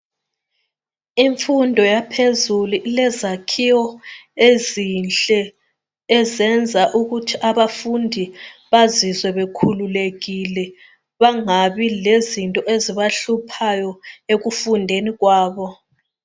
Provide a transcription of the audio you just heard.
Imfundo yaphezulu ilezakhiwo ezinhle ezenza ukuthi abafundi bazizwe bekhululekile, bangabi lezinto ezibahluphayo ekufundeni kwabo.